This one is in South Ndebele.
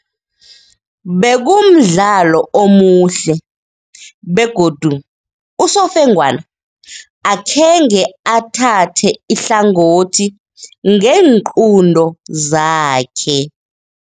Bekumdlalo omuhle begodu usofengwana akhenge athathe ihlangothi ngeenqunto zakhe.